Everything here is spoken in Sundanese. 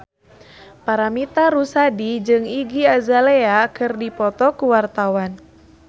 Paramitha Rusady jeung Iggy Azalea keur dipoto ku wartawan